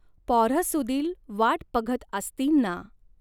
पॉऱ्हसुदील वाट पघत आस्तीन ना.